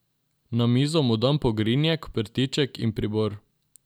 Na mizo mu dam pogrinjek, prtiček in pribor.